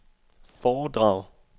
foredrag